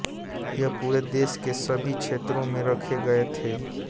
यह पूरे देश के सभी क्षेत्रों में रखे गए थे